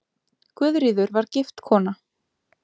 Guðríður var gift kona.